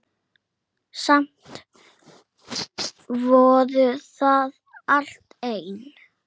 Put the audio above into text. Samt vorum við alltaf ein.